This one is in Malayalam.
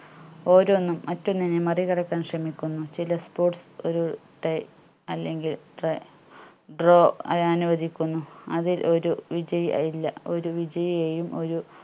ഓരോന്നും മറ്റൊന്നിന് മറികടക്കാൻ ശ്രമിക്കുന്നു ചില sports ഒരു tie അല്ലെങ്കിൽ draw ആയി അനുവദിക്കുന്നു അതിൽ ഒരു വിജയ്‌ യെ ഇല്ല ഒരു വിജയിയെയും ഒരു